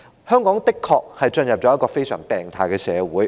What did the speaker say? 香港的確進入了一個非常病態的社會。